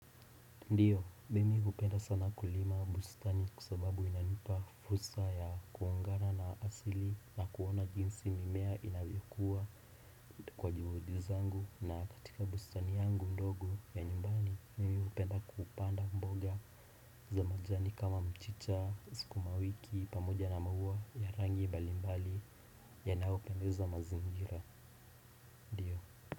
Ndiyo, mimi hupenda sana kulima bustani kwa sababu inanipa fursa ya kuongana na asili na kuona jinsi mimea inavyokua kwa juhudi zangu na katika bustani yangu ndogo ya nyumbani, mimi hupenda kupanda mboga za majani kama mchicha, sukumawiki, pamoja na maua ya rangi mbalimbali yanayopendeza mazingira.